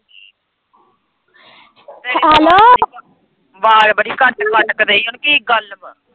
ਆਵਾਜ਼ ਬੜੀ ਕੱਟ-ਕੱਟ ਕ ਦੇਈ ਏ ਕਿ ਗੱਲ ਵਾਂ।